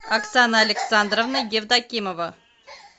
оксана александровна евдокимова